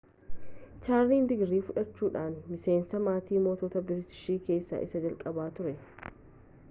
chaarlis digirii fudhachuudhan miseensa maatii moototaa biriitish keessa isa jalqabaa ture